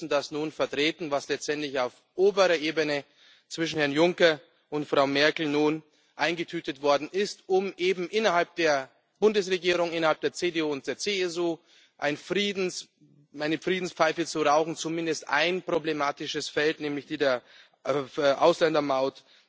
Aber Sie müssen das nun vertreten, was letztendlich auf oberer Ebene zwischen Herrn Juncker und Frau Merkel eingetütet worden ist, um eben innerhalb der Bundesregierung, innerhalb der CDU und der CSU, eine Friedenspfeife zu rauchen und zumindest ein problematisches Feld, nämlich die Ausländermaut,